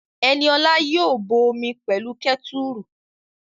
Ẹniola yóò bọ omi pẹ̀lú kẹ́tùrù